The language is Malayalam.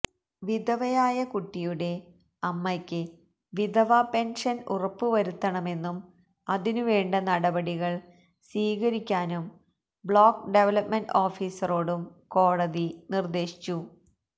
വിധവയായ കുട്ടിയുടെ അമ്മയ്ക്ക് വിധവാ പെന്ഷന് ഉറപ്പുവരുത്തണമെന്നും അതിനുവേണ്ട നടപടികള് സ്വീകരിക്കാനും ബ്ലോക്ക് ഡെവലപ്മെന്റ് ഓഫീസറോടും കോടതി നിര്ദേശിച്ചു